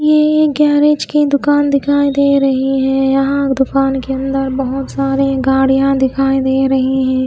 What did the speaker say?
ये एक गैरेज के दुकान दिखाई दे रही है यहां दुकान के अंदर बहोत सारी गाड़ियां दिखाई दे रही है।